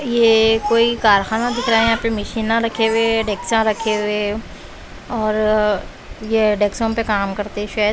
ये कोई कारखाना दिख रहा है यहां पे मशीना रखे हुए है डेक्शा रखे हुए और ये डेक्शो पे काम करते शायद।